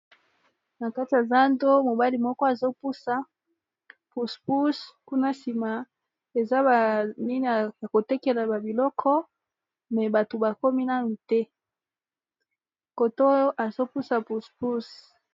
na kati ya zando mobali moko azopusa pus pus kuna nsima eza banini ya kotekela babiloko me bato bakomi nanu te koto azopusa puspus